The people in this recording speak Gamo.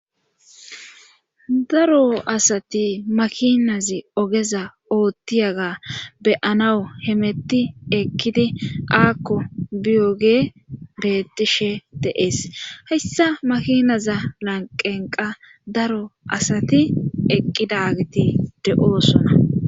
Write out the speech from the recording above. daro asati makinazi ogeza oothtiyaga beyanawu hemetti ekkidi aakko biyoge beettishe deees heyssa makinaza lanqenqa daro asati eqqidagiti de7oosona